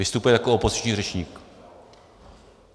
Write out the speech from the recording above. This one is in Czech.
Vystupuji jako opoziční řečník.